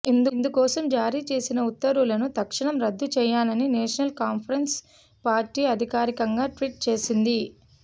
ఇందు కోసం జారీ చేసిన ఉత్తర్వులను తక్షణం రద్దు చేయాలని నేషనల్ కాన్ఫరెన్సు పార్టీ అధికారికంగా ట్వీట్ చేసింది